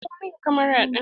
Dauko min camara din!